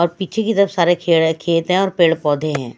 और पीछे की तरफ सारे खेत है और पेड़ पौधे हैं।